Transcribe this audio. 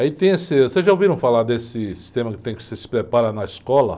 Aí tem esse... Vocês já ouviram falar desse sistema que tem que se preparar na escola?